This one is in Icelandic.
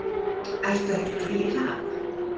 Ertu ekki til í það?